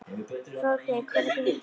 Hróðgeir, hvenær kemur tían?